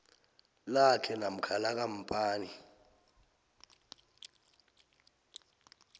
lakhe namkha lekampani